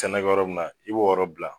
Cɛnɛ bɛ yɔrɔ mun na i b'o yɔrɔ bila